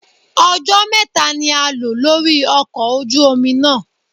Ọjọ́ mẹ́ta ni a lò lórí ọkọ̀ ojú omi náà.